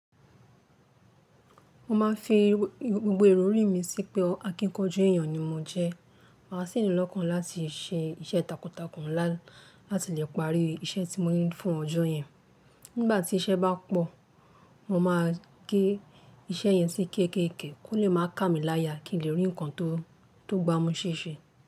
Mo ma n fi gbogbo ìròrí mi sí pé akíkanjú èyàn ni mó jẹ. Máa sì ní lọ́kàn láti ṣe iṣẹ́ takuntakun láti lè parí iṣẹ́ tí mó ní fún ọjọ́ yẹn. Nígbà tí iṣẹ́ bá pọ̀, mo máa gé iṣẹ́ yẹn sí kéékèèké kó lè máa ká mi láya kí n lè rí nǹkan tó gbá mú ṣèṣe.